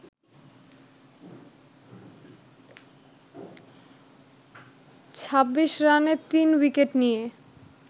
২৬ রানে ৩ উইকেট নিয়ে